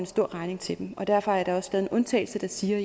stor regning til dem derfor er der også lavet en undtagelse der siger